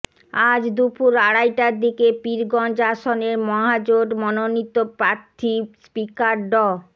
আজ দুপুর আড়াইটার দিকে পীরগঞ্জ আসনের মহাজোট মনোনীত প্রার্থী স্পিকার ড